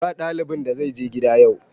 Ba ɗalibin da zai je gida yau!